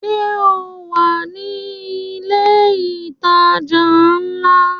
Sọ wà ní ilẹ̀ ìtajà ńlá?